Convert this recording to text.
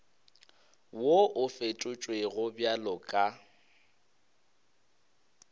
wo o fetotšwego bjalo ka